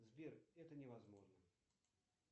сбер это невозможно